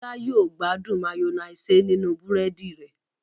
Bola yíò gbádùn Mayonnaise ninu búrẹ́dì rẹ̀.